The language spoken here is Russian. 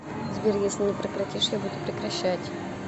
сбер если не прекратишь я буду прекращать